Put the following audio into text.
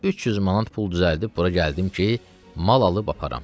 300 manat pul düzəldib bura gəldim ki, mal alıb aparım.